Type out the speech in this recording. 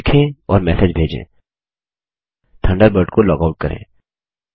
लिखें और मैसेज भेजेंथंडरबर्ड को लॉग आऊट करें